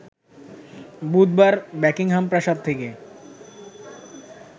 বুধবার বাকিংহাম প্রাসাদ থেকে